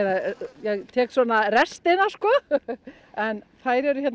ég tek svona restina en þær eru